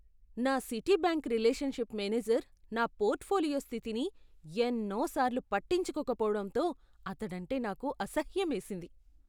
నా Citibank relationship manager నా portfolio స్థితిని ఎన్నో సార్లు పట్టించుకోకపోవడంతో అతడంటే నాకు అసహ్యమేసింది.